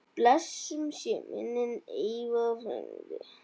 Blessuð sé minning Eyva frænda.